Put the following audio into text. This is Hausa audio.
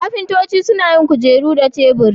Ƙafintoci suna yin kujeru da teburi.